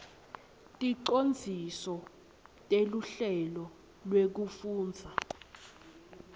ticondziso teluhlelo lwekufundza